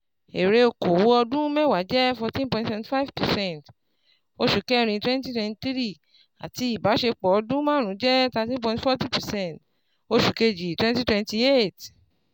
Èrè okòwò ọdún mẹ́wàá jẹ́ forteen point seventy five percent oṣù kẹrin twenty twenty three àti ìbáṣepọ̀ ọdún máàrún jẹ́ thirteen point forty percent oṣù kejì twenty twenty eight